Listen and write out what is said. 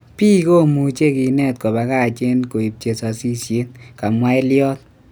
pik komuche kinet kopakach en koip chesasisiet,"kamwa Elliott